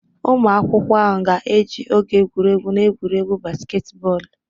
Ụmụ akwụkwọ ahụ ga-eji oge egwuregwu na egwuregwu basketball